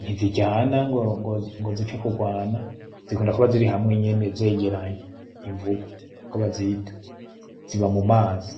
ntiziryana ngo zipfe kurwana zikunda kuba ziri hamwe nyene zegeranye, imvubu niko bazita ziba mumazi.